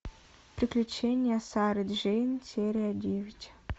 приключения сары джейн серия девять